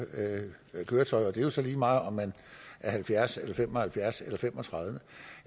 køretøj det er jo så lige meget om man er halvfjerds år eller fem og halvfjerds år eller fem og tredive